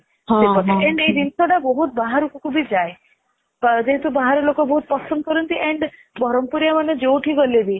ଆଉ ଇଏ ଜିନଶୀ ଟା ବହୁତ ବାହାରକୁ ବି ଯାଏ ଯେହେତୁ ବାହାର ଲୋକ ବହୁତ ପସନ୍ଦ କରନ୍ତି and ବରମପୁରିଆ ମାନେ ଯୋଉଠି ଗଲେ ବି